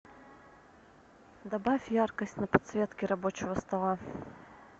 добавь яркость на подсветке рабочего стола